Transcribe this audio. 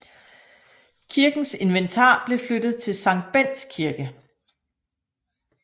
Kirkens inventar blev flyttet til Sankt Bendts Kirke